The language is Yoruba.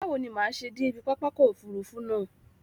Báwo ni màá ṣe dé ibi pápákọ̀ òfurufú náà?